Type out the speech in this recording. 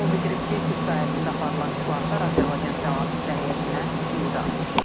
O bildirib ki, tibb sahəsində aparılan islahatlar Azərbaycan səhiyyəsinə ümidi artırır.